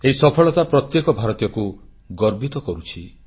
ଏହି ସଫଳତା ପ୍ରତ୍ୟେକ ଭାରତୀୟଙ୍କୁ ଗର୍ବିତ କରୁଛି